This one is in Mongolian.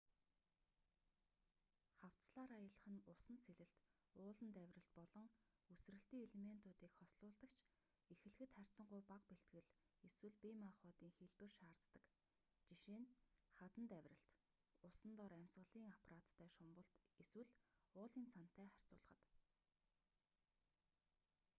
хавцлаар аялах нь усанд сэлэлт ууланд авиралт болон үсрэлтийн элементүүдийг хослуулдаг ч эхлэхэд харьцангуй бага бэлтгэл эсвэл бие махбодын хэлбэр шаарддаг жишээ нь хаданд авиралт усан дор амьсгалын аппараттай шумбалт эсвэл уулын цанатай харьцуулахад